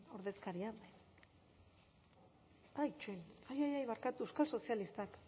ordezkariak ai barkatu euskal sozialistak